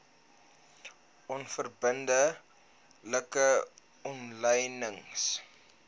onverbidde like omlynings